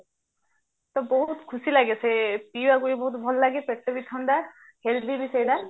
ତ ବହୁତ ଖୁସି ଲାଗେ ପିଇବାକୁ ବି ବହୁତ ଭଲ ଲାଗେ ପେଟ ବି ଥଣ୍ଡା healthy ବି ସେଇଟା